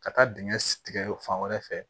Ka taa dingɛ tigɛ fan wɛrɛ fɛ